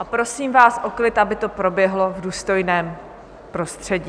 A prosím vás o klid, aby to proběhlo v důstojném prostředí.